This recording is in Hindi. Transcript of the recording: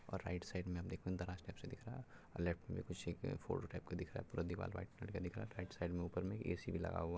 और राइट साइड में हमे दराज़ टाइप का दिख रहा है और लेफ्ट में कुछ एक फोटो टाइप का दिख रहा है पूरा दीवाल व्हाइट कलर का दिख रहा है राइट साइड में ऊपर में ए _सी भी लगा हुआ है।